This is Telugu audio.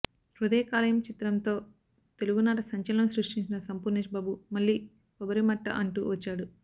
హృదయ కాలేయం చిత్రంతో తెలుగునాట సంచలనం సృష్టించిన సంపూర్ణేష్ బాబు మళ్ళీ కొబ్బరిమట్ట అంటూ వచ్చాడు